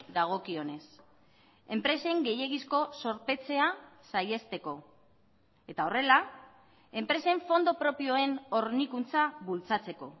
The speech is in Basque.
dagokionez enpresen gehiegizko zorpetzea saihesteko eta horrela enpresen fondo propioen hornikuntza bultzatzeko